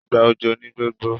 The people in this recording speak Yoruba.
ìgbà òjò ní gbogbo